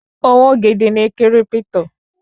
Òwò gidi ni kírípítò